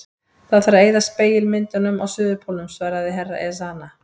Það þarf að eyða spegilmyndunum á Suðurpólnum, svaraði herra Ezana.